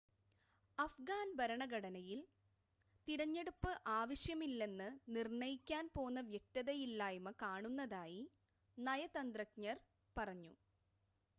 അഫ്ഗാൻ ഭരണഘടനയിൽ തിരഞ്ഞെടുപ്പ് ആവശ്യമല്ലെന്ന് നിർണ്ണയിക്കാൻ പോന്ന വ്യക്തതയില്ലായ്‌മ കാണുന്നതായി നയതന്ത്രജ്ഞർ പറഞ്ഞു